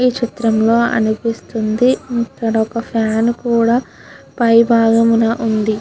ఈ చిత్రంలో అనిపిస్తుంది ఇక్కడ ఒక ఫ్యాన్ కూడా పై బాగంమున వుంది.